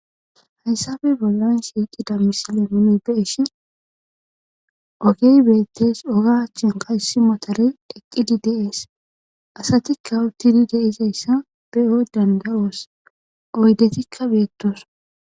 Hayssafe bollan shiiqida misile muni beeshi ogey beettes ogachen qaysi motorey dheqqidi deees asatikka uttidi deizayssa beyo dandaloos oydetikka beettos.